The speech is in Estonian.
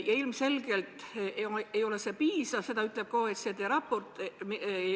Ja ilmselgelt ei ole see piisav, nagu ütleb ka OECD raport.